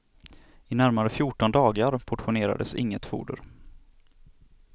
I närmare fjorton dagar portionerades inget foder.